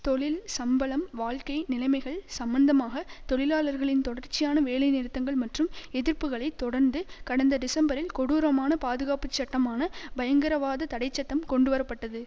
தொழில் சம்பளம் வாழ்க்கை நிலைமைகள் சம்பந்தமாக தொழிலாளர்களின் தொடர்ச்சியான வேலை நிறுத்தங்கள் மற்றும் எதிர்புக்களை தொடர்ந்து கடந்த டிசம்பரில் கொடூரமான பாதுகாப்பு சட்டமான பயங்கரவாத தடை சட்டம் கொண்டுவர பட்டது